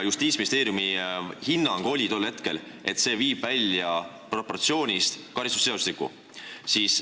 Justiitsministeeriumi hinnang oli tol hetkel, et see viib karistusseadustiku proportsioonist välja.